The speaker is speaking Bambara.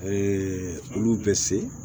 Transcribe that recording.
olu bɛ se